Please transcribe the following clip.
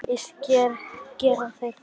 Víst gera þeir það!